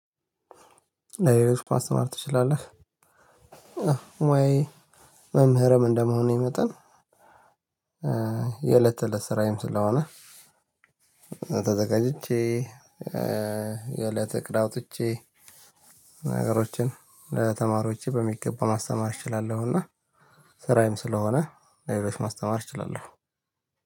ለሌሎች ማስተማር ትችላለህ? አዎ ሙያዬ መምህርም እንደመሆኔ መጠን የእለት ተለት ስራዬም ስለሆነ ተዘጋጅቼ የእለት እቅድ አውጥቼ ነገሮችን ለተማሪዎቼ በሚገባው ማስተማር እችላለሁ። እና ስራዬም ስለሆነ ለሌሎች ማስተማር እችላለሁ።